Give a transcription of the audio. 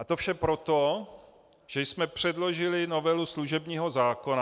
A to vše proto, že jsme předložili novelu služebního zákona.